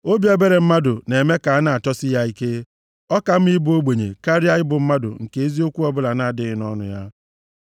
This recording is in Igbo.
Obi ebere mmadụ na-eme ka a na-achọsi ya ike. Ọ ka mma ịbụ ogbenye karịa ịbụ mmadụ nke eziokwu ọbụla na-adịghị nʼọnụ ya.